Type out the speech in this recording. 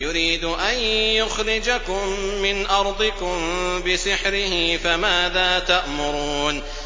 يُرِيدُ أَن يُخْرِجَكُم مِّنْ أَرْضِكُم بِسِحْرِهِ فَمَاذَا تَأْمُرُونَ